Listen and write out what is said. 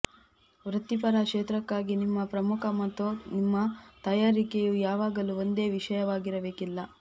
ವೃತ್ತಿಪರ ಕ್ಷೇತ್ರಕ್ಕಾಗಿ ನಿಮ್ಮ ಪ್ರಮುಖ ಮತ್ತು ನಿಮ್ಮ ತಯಾರಿಕೆಯು ಯಾವಾಗಲೂ ಒಂದೇ ವಿಷಯವಾಗಿರಬೇಕಿಲ್ಲ